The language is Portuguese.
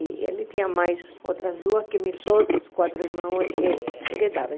E ele tinha mais outras duas que meus outros quatro irmãos herdaram.